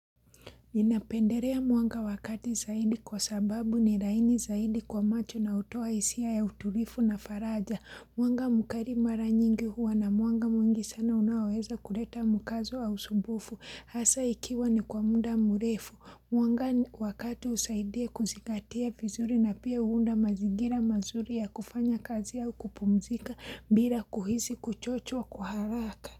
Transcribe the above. Ninapenderea mwanga wakati zaidi kwa sababu ni laini zaidi kwa macho na hutoa hisia ya utulivu na faraja. Mwanga mkari mara nyingi huwa na mwanga mwangi sana unaweza kuleta mkazo au usumbufu hasa ikiwa ni kwa muda mrefu. Mwanga wakati usaidia kuzigatia vizuri na pia huunda mazigira mazuri ya kufanya kazi au kupumzika bila kuhizi kuchochwa kuharaka.